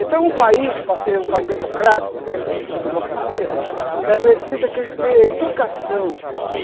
Então um país, para ser um país democrático, ter sua democracia, é preciso que ele tenha educação.